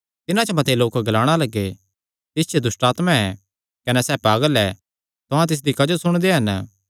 तिन्हां च मते लोक ग्लाणा लग्गे तिस च दुष्टआत्मा ऐ कने सैह़ पागल ऐ तुहां तिसदी क्जो सुणदे हन